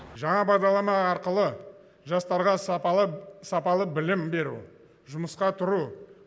жаңа бағдарлама арқылы жастарға сапалы білім беру жұмысқа тұру